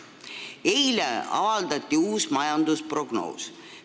Eile avaldati uus majandusprognoos.